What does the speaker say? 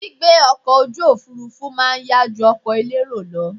Gbígbé ọkọ̀ ojú òfurufú má a nyá ju ọkọ̀ elérò lọ